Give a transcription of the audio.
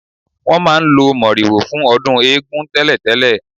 Wọn máa ń lo moriwo fún ọdún eégún tẹ́lẹ̀tẹ́lẹ̀